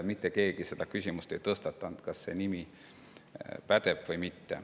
Mitte keegi seda küsimust ei tõstatanud, kas see nimi pädeb või mitte.